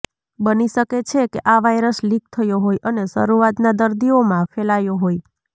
બની શકે છે કે આ વાયરસ લીક થયો હોય અને શરૂઆતના દર્દીઓમાં ફેલાયો હોય